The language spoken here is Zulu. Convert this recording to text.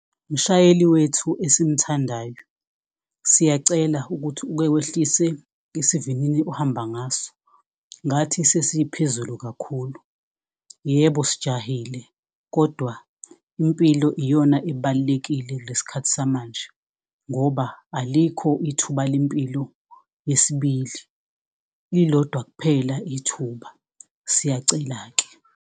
Mshayeli wethu, esimthandayo. Siyacela ukuthi uke wehlise isivinini ohamba ngaso ngathi sesiphezulu kakhulu. Yebo, sijahile kodwa impilo iyona ebalulekile kule sikhathi samanje. Ngoba alikho ithuba lempilo yesibili, lilodwa kuphela ithuba. Siyacela-ke.